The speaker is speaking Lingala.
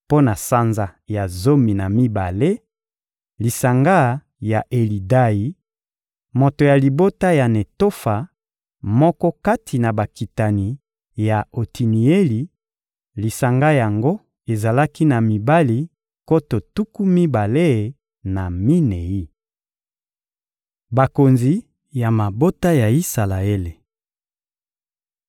Mpo na sanza ya zomi na mibale: lisanga ya Elidayi, moto ya libota ya Netofa, moko kati na bakitani ya Otinieli; lisanga yango ezalaki na mibali nkoto tuku mibale na minei. Bakonzi ya mabota ya Isalaele